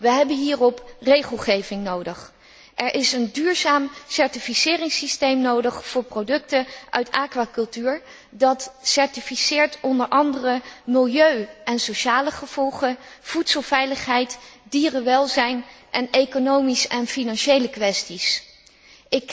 We hebben hierop regelgeving nodig. Er is een duurzaam certificeringsysteem nodig voor producten uit aquacultuur, dat onder andere milieu en sociale gevolgen, voedselveiligheid, dierenwelzijn en economische en financiële kwesties certificeert.